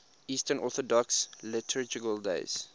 eastern orthodox liturgical days